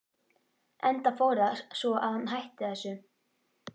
Enda fór það svo að hann hætti þessu.